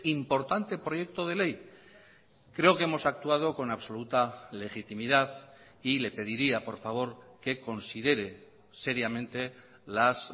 importante proyecto de ley creo que hemos actuado con absoluta legitimidad y le pediría por favor que considere seriamente las